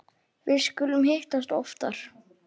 Við skulum hittast oftar